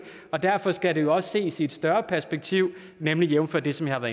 og derfor skal det jo også ses i et større perspektiv nemlig jævnfør det som jeg har